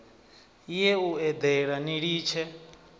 ye u eḓela ni litshe